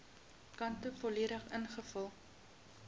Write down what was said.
kante volledig ingevul